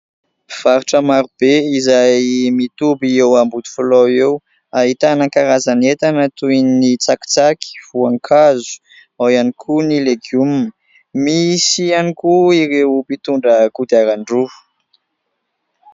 Mpivarotra maro be izay mitoby eo Ambodifilaho eo ahitana karazan'entana toy ny : tsakitsaky, voankazo, ao ihany koa ny legioma. Misy ihany koa ireo mpitondra kodiaran-droa.